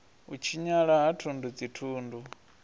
u tshinyala ha thundu dzithundu